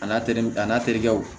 A n'a terikɛ a n'a terikɛw